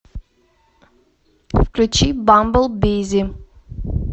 включи бамбл бизи